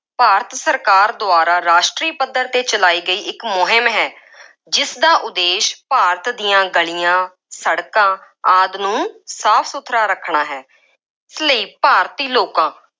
ਭਾਰਤ ਸਰਕਾਰ ਦੁਆਰਾ ਰਾਸ਼ਟਰੀ ਪੱਧਰ 'ਤੇ ਚਲਾਈ ਗਈ, ਇੱਕ ਮੁਹਿੰਮ ਹੈ। ਜਿਸਦਾ ਉਦੇਸ਼ ਭਾਰਤ ਦੀਆਂ ਗਲੀਆਂ, ਸੜਕਾਂ ਆਦਿ ਨੂੰ ਸਾਫ ਸੁਥਰਾ ਰੱਖਣਾ ਹੈ। ਇਸ ਲਈ ਭਾਰਤੀ ਲੋਕਾਂ